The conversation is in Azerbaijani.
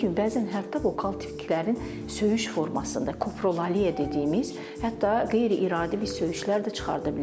bəzən hətta vokal tiklərin söyüş formasında, koprolaliya dediyimiz, hətta qeyri-iradi bir söyüşlər də çıxarda bilərlər.